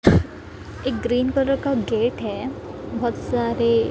एक green colour का gate है बहोत सारे --